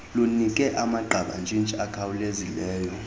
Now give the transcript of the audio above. lunike amagqabantshintshi akhawulezileyo